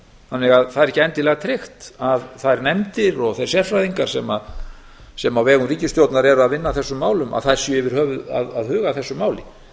þannig að það er ekki endilega tryggt að þærnefndir og þeir sérfræðingar sem á vegum ríkisstjórnar eru að vinna að þessum málum að þær séu yfir höfuð að huga að þessu máli